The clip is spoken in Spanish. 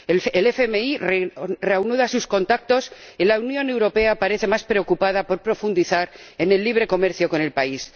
El FMI reanuda sus contactos y la Unión Europea parece más preocupada por profundizar en el libre comercio con el país.